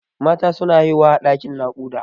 Mata suna haihuwa a ɗaƙin naƙuda.